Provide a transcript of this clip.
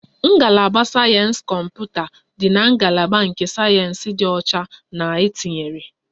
Ngalaba sayensị kọmputa dị na ngalaba nke sayensị dị ọcha na etinyere